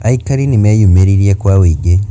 Aikari nĩmeyũmĩririe kwa ũingĩ